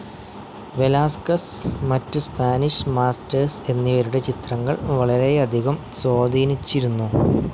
Velasquez, മറ്റ് Spanish masters എന്നിവരുടെ ചിത്രങ്ങൾ വളരെയധികം സ്വാധീനിച്ചിരുന്നു.